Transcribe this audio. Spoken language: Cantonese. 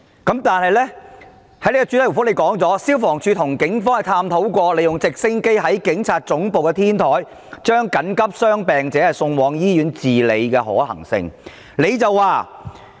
但是，局長在主體答覆中表示，消防處跟警方探討過，利用直升機在警察總部的天台將緊急傷病者送往醫院治理的可行性。